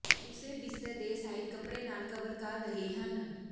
ਉਸੇ ਬਿਸਤਰੇ ਦੇ ਸਾਈਡ ਕੱਪੜੇ ਨਾਲ ਕਵਰ ਕਰ ਰਹੇ ਹਨ